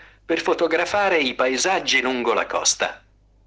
аа